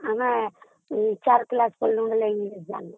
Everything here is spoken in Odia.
ଆମେ ଚାରି class ପଢିଲା ବେଳେ English ଥିଲା